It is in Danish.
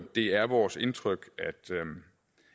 det er vores indtryk